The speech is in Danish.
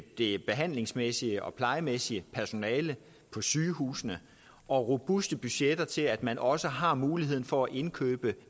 det behandlingsmæssige og plejemæssige personale på sygehusene og robuste budgetter til at man også har muligheden for at indkøbe